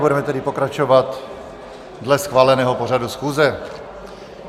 Budeme tedy pokračovat dle schváleného pořadu schůze.